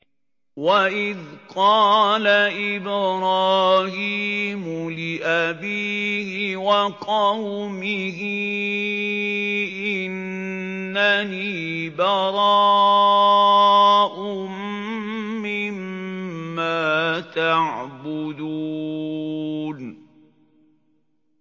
وَإِذْ قَالَ إِبْرَاهِيمُ لِأَبِيهِ وَقَوْمِهِ إِنَّنِي بَرَاءٌ مِّمَّا تَعْبُدُونَ